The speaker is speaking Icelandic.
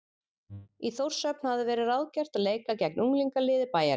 Í Þórshöfn hafði verið ráðgert að leika gegn unglingaliði bæjarins.